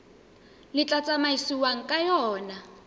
le tla tsamaisiwang ka yona